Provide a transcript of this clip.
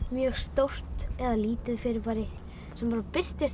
mjög stórt eða lítið fyrirbæri sem birtist